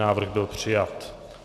Návrh byl přijat.